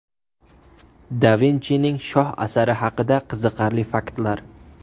Da Vinchining shoh asari haqida qiziqarli faktlar.